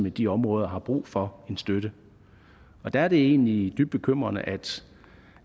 i de områder har brug for støtte der er det egentlig dybt bekymrende